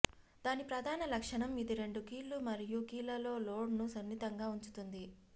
దాని ప్రధాన లక్షణం ఇది రెండు కీళ్ళు మరియు కాళ్లలో లోడ్ ను సున్నితంగా ఉంచుతుంది